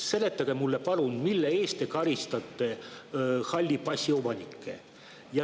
Seletage mulle, palun, mille eest te karistate halli passi omanikke.